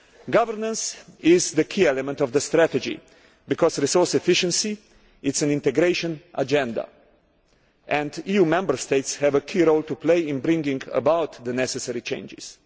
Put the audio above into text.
Governance is the key element of the strategy, because resource efficiency is an integration agenda and EU Member States have a key role to play in bringing about the necessary changes.